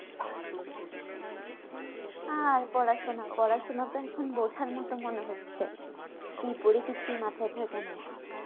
আর পড়াশোনা পড়াশোনা তো এখন বোঝার মতো মনে হচ্ছে কি করি কিছু মাথায় থাকে না